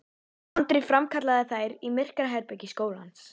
Andri framkallaði þær í myrkraherbergi skólans.